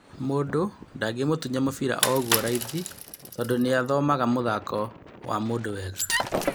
" Mũndũ ndangĩmũtunya mũbĩra o ũguo raithi tondũ nĩathomaga mũthako wa mũndũ wega."